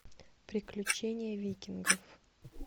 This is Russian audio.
приключения викингов